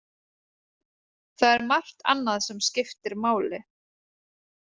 Það er margt annað sem skiptir máli.